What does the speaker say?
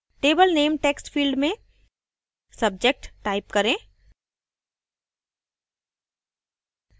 table name text field में subject type करें